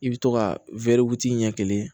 I bɛ to ka ɲɛ kelen